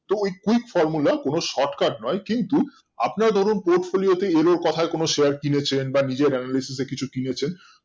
টি ওই ঠিক formula কোনো shortcut নয় কিন্তু আপনারা ধরুন hopefully এর ওর কোথায় কোনো share কিনেছেন বা নিজের analycise এ কিছু কিনেছেন